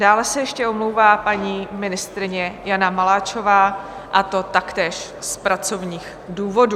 Dále se ještě omlouvá paní ministryně Jana Maláčová, a to taktéž z pracovních důvodů.